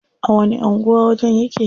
A wani anguwa wajen yake?